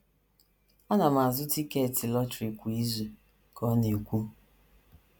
“ Ana m azụ tiketi lọtrị kwa izu ,” ka ọ na - ekwu.